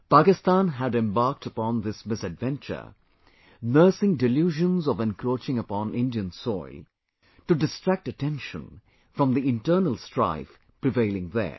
Pakistan had embarked upon this misadventure, nursing delusions of encroaching upon Indian soil, to distract attention from the internal strife prevailing there